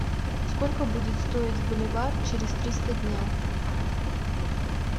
сколько будет стоить боливар через триста дня